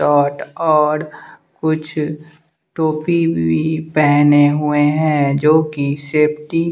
कुछ टोपी भी पेहने हुए हैं जो कि सेफ्टी --